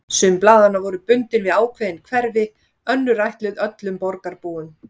Sum blaðanna voru bundin við ákveðin hverfi, önnur ætluð öllum borgarbúum.